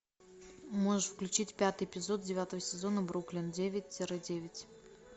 можешь включить пятый эпизод девятого сезона бруклин девять тире девять